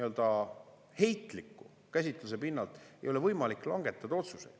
Sellise heitliku käsitluse pinnalt ei ole võimalik langetada otsuseid.